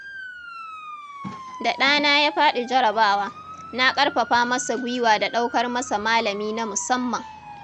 Da ɗana ya faɗi jarrabawa, na ƙarfafa masa guiwa da ɗaukar masa malami na musamman.